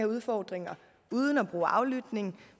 udfordringer uden at bruge aflytning og